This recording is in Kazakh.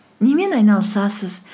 немен айналысасыз